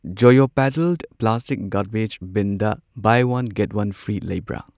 ꯖꯣꯌꯣ pedal plastic garbage ꯕꯤꯟꯗ buy one get one free ꯂꯩꯕꯔ?